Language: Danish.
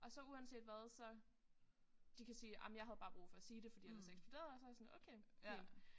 Og så uanset hvad så de kan sige ej men jeg havde bare brug for at sige det fordi ellers så eksploderede jeg så jeg sådan okay fint